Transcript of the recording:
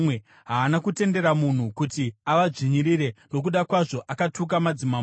Haana kutendera munhu kuti avadzvinyirire; nokuda kwavo akatuka madzimambo.